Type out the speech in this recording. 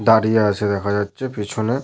দাঁড়িয়ে আছে দেখা যাচ্ছে পিছনে।